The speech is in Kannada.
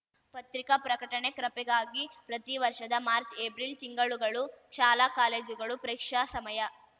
ಪತ್ರಿಕಾ ಪ್ರಕಟಣೆ ಕ್ರಪೆಗಾಗಿ ಪ್ರತೀ ವರ್ಷದ ಮಾರ್ಚಏಪ್ರಿಲ್ ತಿಂಗಳುಗಳು ಶಾಲಾಕಾಲೇಜುಗಳು ಪರೀಕ್ಷಾ ಸಮಯ